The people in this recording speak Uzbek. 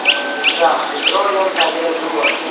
Jizzax Petrolium tagida kim bor?